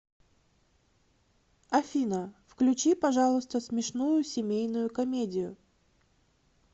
афина включи пожалуйста смешную семейную комедию